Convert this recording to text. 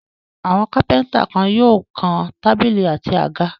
Àwọn kápẹ́ńtà kan yóò kan tábìlì àti àga.